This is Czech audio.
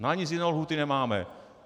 Na nic jiného lhůty nemáme.